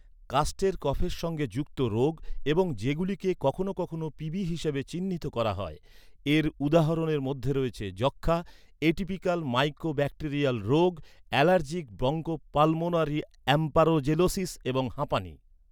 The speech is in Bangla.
কাস্টের কফের সঙ্গে যুক্ত রোগ, এবং যেগুলিকে কখনও কখনও পিবি হিসাবে চিহ্নিত করা হয়। এর উদাহরণের মধ্যে রয়েছে যক্ষ্মা, এটিপিকাল মাইকোব্যাকটেরিয়াল রোগ, অ্যালার্জিক ব্রঙ্কোপালমোনারি অ্যাস্পারজিলোসিস এবং হাঁপানি।